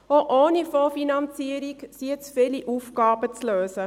Auch ohne Fondsfinanzierung sind nun viele Aufgaben zu lösen.